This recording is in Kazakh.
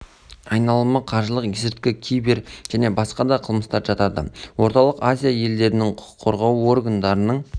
айналымы қаржылық есірткі кибер және басқа да қылмыстар жатады орталық азия елдерінің құқық қорғау органдарының